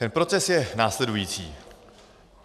Ten proces je následující.